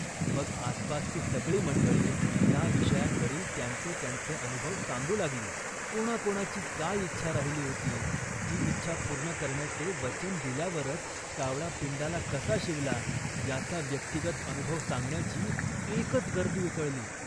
" मग आसपासची सगळी मंडळी या विषयांवरील त्यांचे त्यांचे अनुभव सांगू लागली. कोणाकोणाची काय इच्छा राहिली होती, ती इच्छा पूर्ण करण्याचे वचन दिल्यावरच कावळा पिंडाला कसा शिवला, याचा व्यक्तिगत अनुभव सांगण्याची एकच गर्दी उसळली